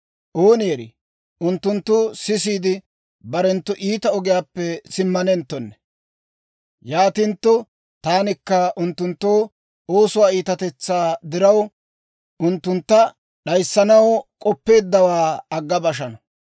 Ooni erii, unttunttu sisiide, barenttu iita ogiyaappe simmanenttonne. Yaatintto taanikka unttunttu oosuwaa iitatetsaa diraw, unttuntta d'ayissanaw k'oppeeddawaa agga bashana.